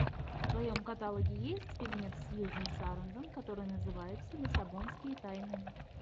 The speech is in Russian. в твоем каталоге есть фильмец сьюзен сарандон который называется лиссабонские тайны